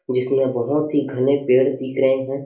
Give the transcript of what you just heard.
जिसमें बहोत ही घने पेड़ दिख रहे हैं।